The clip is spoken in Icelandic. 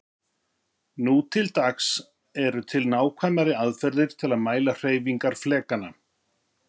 nú til dags eru til nákvæmari aðferðir til að mæla hreyfingar flekanna